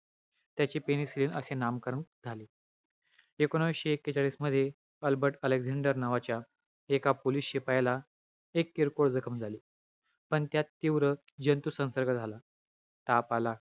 त्याचे penicilin असे नामकरण झाले. एकोणविशे एकेचाळीसमध्ये, अल्बर्ट अलेक्सान्डर नावाच्या, एका पोलिश शिपायाला एक किरकोळ जखम झाली. पण त्यात तीव्र, जंतू संसर्ग झाला. ताप आला.